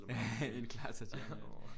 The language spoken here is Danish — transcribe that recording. En Clara Tatiana